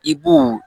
I b'o